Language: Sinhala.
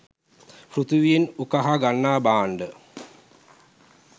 පෘථිවියෙන් උකහා ගන්නා භාණ්ඩ